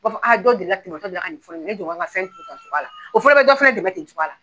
O b'a fɔ dɔ deli la ka dɔ deli la ka fɔ ɲɛnɛ i jɔ n ka n ka fɛn turu tan nin cogoya la o fana bɛ dɔ fana dɛmɛ ten nin cogoya la.